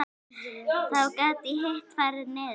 Þá gat hitt farið niður.